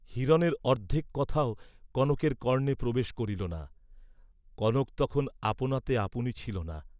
হিরণের অর্দ্ধেক কথাও কনকের কর্ণে প্রবেশ করিল না, কনক তখন আপনাতে আপনি ছিল না।